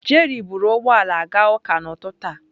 Jerry buru ụgbọ ala gaa ụka n'ụtụtụ a.